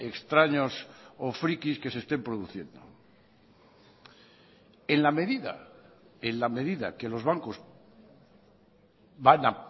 extraños o friquis que se estén produciendo en la medida en la medida que los bancos van a